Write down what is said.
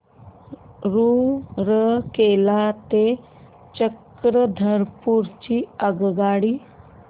रूरकेला ते चक्रधरपुर ची आगगाडी